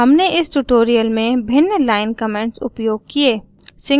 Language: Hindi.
हमने इस ट्यूटोरियल में भिन्न लाइन कमेंट्स उपयोग किये